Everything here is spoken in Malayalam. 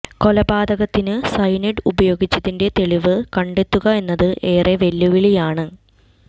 കൊലപാതകത്തിന് സയനൈഡ് ഉപയോഗിച്ചതിന്റെ തെളിവ് കണ്ടെത്തുക എന്നത് ഏറെ വെല്ലുവിളിയാണ്